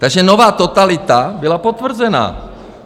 Takže nová totalita byla potvrzena.